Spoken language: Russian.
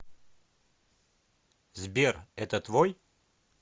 сбер это твой